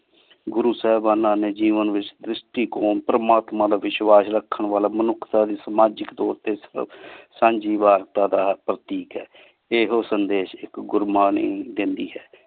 ਗੁਰੂ ਸਾਹੇਬਾਨਾਂ ਨੀ ਜੇਵਾਂ ਵਿਚ ਤ੍ਰਿਸ਼ਿਤੀ ਕੋਮ ਪਰਮਾਤਮਾ ਦਾ ਵਿਸ਼ਵਾਸ਼ ਰਖਣ ਵਾਲਾ ਮਨੁਖਤਾ ਦੀ ਸਮਾਜਿਕ ਤੋਰ ਟੀ ਸਾਂਝੀ ਵਾਰਦਾ ਦਾ ਹਕ਼ ਹੈ ਏਹੋ ਸੰਦੇਸ਼ ਇਕ ਗੁਰ੍ਮਾਨੀ ਦੇਂਦੀ ਹੈ